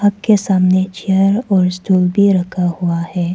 के सामने चेयर और स्टूल भी रखा हुआ है।